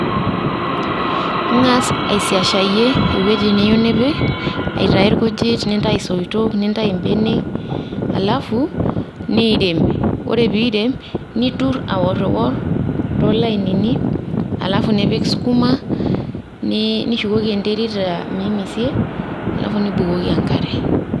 Ing'as aisiashayie ewueji niyieu nipik, aitayu irkujit nintayu isoitok nintayu benek. Alafu niirem. Ore pirem, nitur aorwor to lainini alafu nipik sukuma, nishukoki enterit mimisie alafu nibukoki enkare.